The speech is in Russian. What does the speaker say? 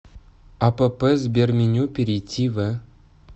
апп сберменю перейди в